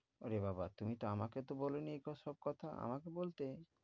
ওরে বাবা তুমি তো আমাকে তো বলনি এগুলো সব কথা আমাকে বলতে।